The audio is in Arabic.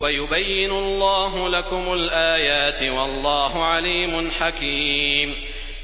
وَيُبَيِّنُ اللَّهُ لَكُمُ الْآيَاتِ ۚ وَاللَّهُ عَلِيمٌ حَكِيمٌ